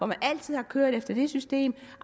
man altid har kørt efter det system